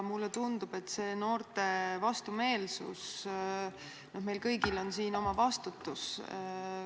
Noorte vastumeelsus – mulle tundub, et meil kõigil on siin oma vastutus.